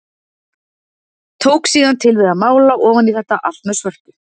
Tók síðan til við að mála ofan í þetta allt með svörtu.